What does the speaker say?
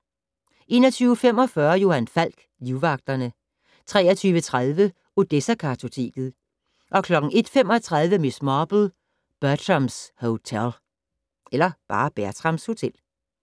21:45: Johan Falk: Livvagterne 23:30: Odessa-kartoteket 01:35: Miss Marple: Bertrams Hotel